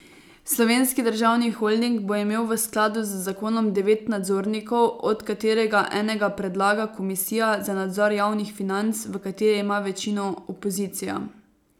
Slovenski državni holding bo imel v skladu z zakonom devet nadzornikov, od katerega enega predlaga komisija za nadzor javnih financ, v kateri ima večino opozicija.